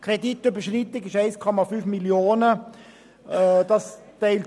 Die Kreditüberschreitung beläuft sich auf 1,5 Mio. Franken.